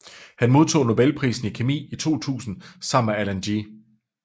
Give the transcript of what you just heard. Han modtog nobelprisen i kemi i 2000 sammen med Alan G